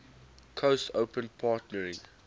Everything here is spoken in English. coast open partnering